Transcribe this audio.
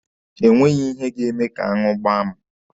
E nweghi ihe ga-eme ka aṅụ gbaa mụ.